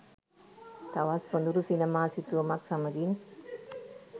තවත් සොඳුරු සිනමා සිතුවමක් සමඟින්